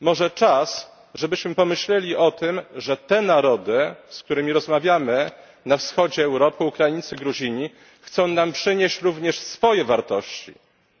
Może czas, żebyśmy pomyśleli o tym, że te narody, z którymi rozmawiamy na Wschodzie Europy Ukraińcy, Gruzini chcą nam przynieść również swoje wartości,